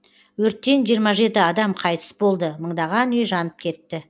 өрттен жиырма жеті адам қайтыс болды мыңдаған үй жанып кетті